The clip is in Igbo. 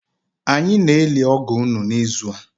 Anyị na-eli ọgọ unu n’ịzụ a